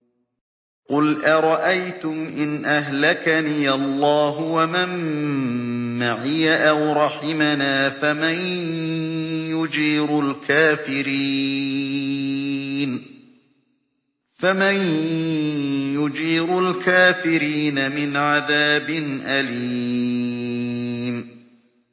قُلْ أَرَأَيْتُمْ إِنْ أَهْلَكَنِيَ اللَّهُ وَمَن مَّعِيَ أَوْ رَحِمَنَا فَمَن يُجِيرُ الْكَافِرِينَ مِنْ عَذَابٍ أَلِيمٍ